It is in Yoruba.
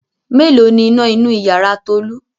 Mélòó ni iná inú ìyàrá Tolú?